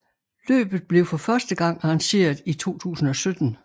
Løbet blev for første gang arrangeret i 2017